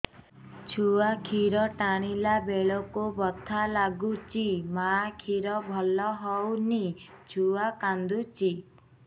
ଛୁଆ ଖିର ଟାଣିଲା ବେଳକୁ ବଥା ଲାଗୁଚି ମା ଖିର ଭଲ ହଉନି ଛୁଆ କାନ୍ଦୁଚି